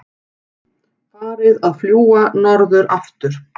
Farið að fljúga aftur norður